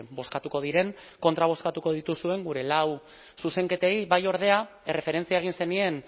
bozkatuko diren kontra bozkatuko dituzuen gure lau zuzenketei bai ordea erreferentzia egin zenien